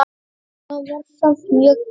Þetta var samt mjög gaman.